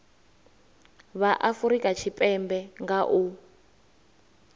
vha afurika tshipembe nga u